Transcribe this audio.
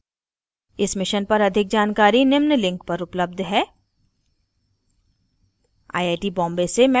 इस mission पर अधिक जानकारी निम्न लिंक पर उपलब्ध है